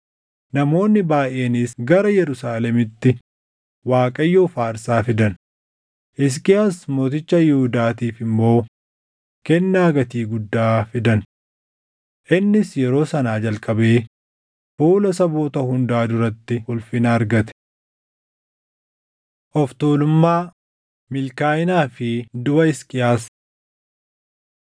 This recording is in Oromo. Namoonni baayʼeenis gara Yerusaalemitti Waaqayyoof aarsaa fidan; Hisqiyaas mooticha Yihuudaatiif immoo kennaa gatii guddaa fidan. Innis yeroo sanaa jalqabee fuula saboota hundaa duratti ulfina argate. Of tuulummaa, Milkaaʼinaa fi Duʼa Hisqiyaas 32:24‑33 kwf – 2Mt 20:1‑21; Isa 37:21‑38; 38:1‑8